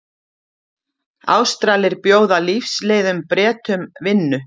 Ástralir bjóða lífsleiðum Bretum vinnu